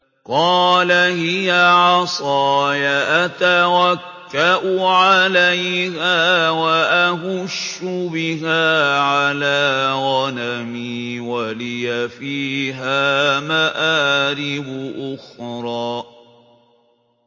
قَالَ هِيَ عَصَايَ أَتَوَكَّأُ عَلَيْهَا وَأَهُشُّ بِهَا عَلَىٰ غَنَمِي وَلِيَ فِيهَا مَآرِبُ أُخْرَىٰ